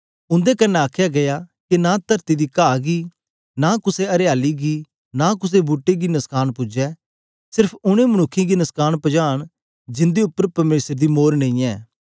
उंदे कन्ने आखया गीया के नां तरती दी काह गी नां कुसे अरियाली गी नां कुसे बूट्टे गी नुस्कान पूजे सिर्फ ओनें मनुक्खें गी नुस्कान पजान जिंदे उपर परमेसर दी मोर नेईयैं